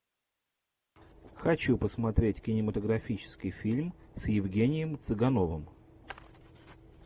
хочу посмотреть кинематографический фильм с евгением цыгановым